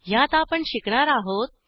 ह्यात आपण शिकणार आहोत